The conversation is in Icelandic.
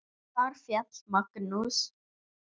Þar féll Magnús.